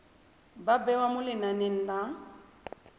ba bewa mo lenaneng la